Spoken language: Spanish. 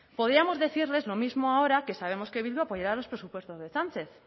podíamos decirles lo mismo ahora que sabemos que bildu apoyará los presupuestos de sánchez